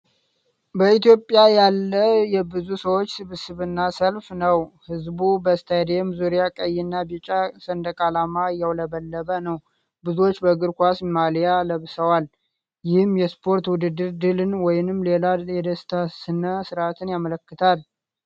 በኢትዮጵያ ያለ የብዙ ሰዎች ስብስብና ሰልፍ ነው። ሕዝቡ በስታዲየም ዙሪያ ቀይና ቢጫ ሰንደቅ ዓላማ እያውለበለበ ነው። ብዙዎቹ በእግር ኳስ ማሊያ ለብሰዋል። ይህም የስፖርት ውድድር ድልን ወይም ሌላ የደስታ ሥነ ሥርዓትን ያመለክታል።